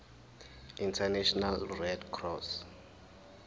international red cross